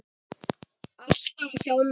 Alltaf hjá mér.